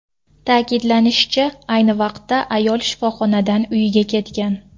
Ta’kidlanishicha, ayni vaqtda ayol shifoxonadan uyiga ketgan.